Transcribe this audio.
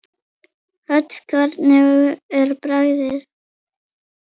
Hödd: Hvernig er bragðið?